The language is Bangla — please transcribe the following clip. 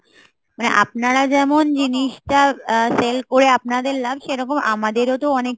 মানে আপনারা যেমন জিনিস টা আ~ sell করে আপনাদের লাভ সেরকম আমাদের তো অনেক